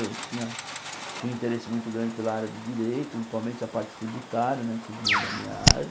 Eu tinha tinha um interesse muito grande pela área de Direito, principalmente a parte tributária né que vinha da minha área.